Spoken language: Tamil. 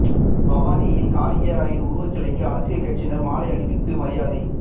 பவானியில் காலிங்கராயன் உருவச் சிலைக்கு அரசியல் கட்சியினர் மாலை அணிவித்து மரியாதை